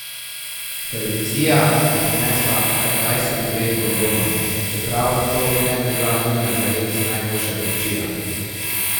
Televizija bi prinesla kar dvajset vreč bombonov, čeprav to ne bi bila nujno zares najboljša kupčija.